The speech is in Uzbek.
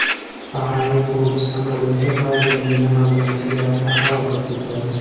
Bahrayn qiruvchi samolyoti Saudiyaning Yaman bilan chegarasida halokatga uchradi.